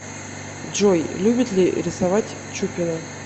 джой любит ли рисовать чупина